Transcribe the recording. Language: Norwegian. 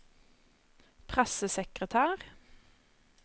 pressesekretær